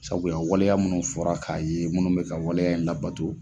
Sabula waleya munnu fɔra k'a ye munnu bɛ ka waleya in labato